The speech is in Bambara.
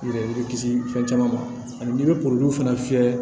Yɛrɛ kisi fɛn caman ma ani bɛ fana fiyɛ